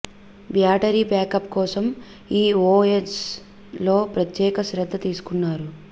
battery backup కోసం ఈ OS లో ప్రత్యేక శ్రధ్ధ తీసుకున్నారు